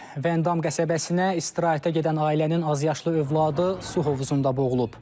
Vəndam qəsəbəsinə istirahətə gedən ailənin azyaşlı övladı su hovuzunda boğulub.